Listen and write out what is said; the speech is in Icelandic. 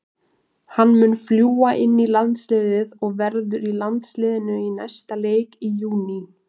Hann mun fljúga inn í landsliðið og verður í landsliðinu í næsta leik í júní.